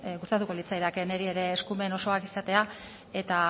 gustatuko litzaidake niri ere eskumen osoak izatea eta